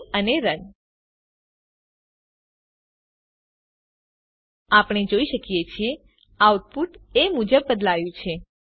save અને run આપણે જોઈએ છીએ કે આઉટપુટ એ મુજબ બદલાયું છે